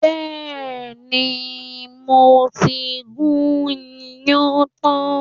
Bẹ́ẹ̀ni, mo ti gún iyán tán